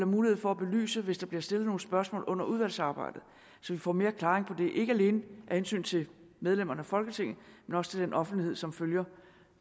mulighed for at belyse hvis der bliver stillet nogle spørgsmål under udvalgsarbejdet så vi får mere klaring på det ikke alene af hensyn til medlemmerne af folketinget men også til den offentlighed som følger